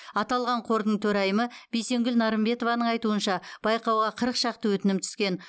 аталған қордың төрайымы бейсенкүл нарымбетованың айтуынша байқауға қырық шақты өтінім түскен